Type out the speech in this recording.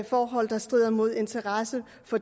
forhold der strider mod de interesser